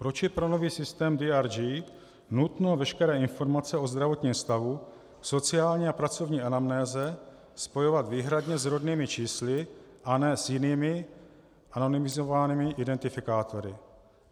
Proč je pro nový systém DRG nutno veškeré informace o zdravotním stavu, sociální a pracovní anamnéze spojovat výhradně s rodnými čísly a ne s jinými anonymizovanými identifikátory?